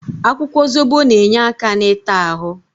Akwụkwọ Zobo na-enye aka n'ita ahụ.